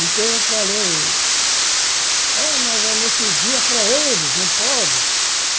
Então eu falei, é, mas anestesia é para eles, não pode.